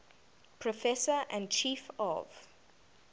professor and chief of